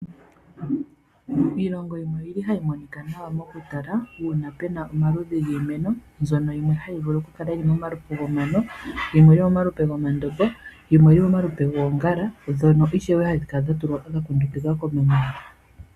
Iilongo yimwe oyili hayi monika nawa mokutala uuna pena omaludhi giimeno mbyono yimwe hayi vulu okukala yili momalupe gomano, yimwe oyili momalupe gomamndombo, yimwe oyili momalupe goongala dhono ishewe hadhi kala dha kundukidhwa komano.